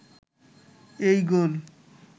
এই গোল